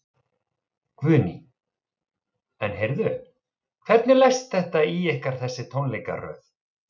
Guðný: En heyrðu, hvernig leggst þetta í ykkar þessi tónleikaröð?